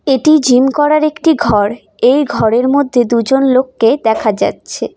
এটি জিম করার একটি ঘর এই ঘরের মধ্যে দুজন লোককে দেখা যাচ্ছে।